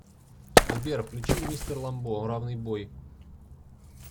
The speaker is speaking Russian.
сбер включи мистер ламбо равный бой